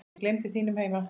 Ég gleymdi mínum heima